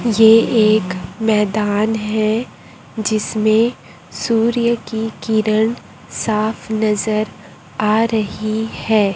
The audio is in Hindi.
ये एक मैदान है जिसमें सूर्य की किरण साफ नजर आ रही है।